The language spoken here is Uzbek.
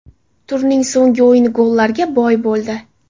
Turning so‘nggi o‘yini gollarga boy bo‘ldi.